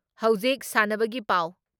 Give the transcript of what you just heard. ꯍꯧꯖꯤꯛ ꯁꯥꯟꯅꯕꯒꯤ ꯄꯥꯎ